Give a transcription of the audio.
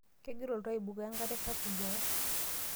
Kegira oltoo aibukoo enkare sapuk boo.